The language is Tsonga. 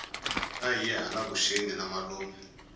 ahiye hala vuxeni na malume